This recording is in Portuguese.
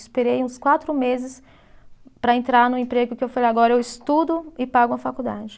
Esperei uns quatro meses para entrar no emprego que eu falei, agora eu estudo e pago uma faculdade.